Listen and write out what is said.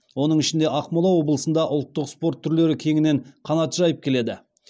оның ішінде ақмола облысында ұлттық спорт түрлері кеңінен қанат жайып келеді